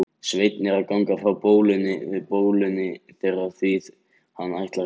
Sveinn er að ganga frá bólinu þeirra því hann ætlar í ferð.